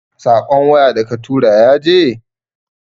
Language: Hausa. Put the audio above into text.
Saƙon waya da katura yaje?